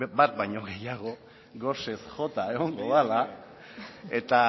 bat baino gehiago gosez jota egongo dela eta